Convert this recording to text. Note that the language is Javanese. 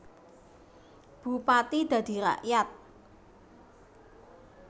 Bupati dadi rakyat